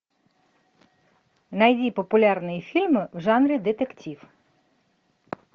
найди популярные фильмы в жанре детектив